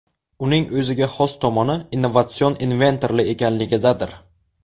Uning o‘ziga xos tomoni innovatsion invertorli ekanligidadir.